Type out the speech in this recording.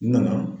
N nana